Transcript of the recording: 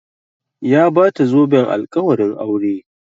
Ya bata zoben alƙawarin aure